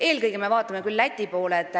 Eelkõige me vaatame küll Läti poole.